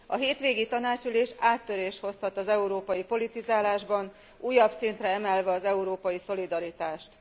A hétvégi tanácsülés áttörést hozhat az európai politizálásban, újabb szintre emelve az európai szolidaritást.